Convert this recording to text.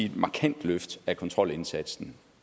et markant løft af kontrolindsatsen